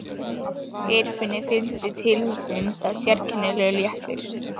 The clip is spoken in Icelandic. Geirfinni fylgdi tilhugsuninni um það sérkennilegur léttir.